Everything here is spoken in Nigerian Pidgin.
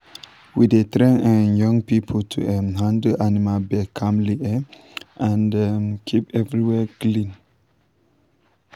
we dey train um young people to um handle animal birth calmly um um and keep everywhere clean.